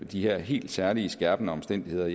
de her helt særligt skærpende omstændigheder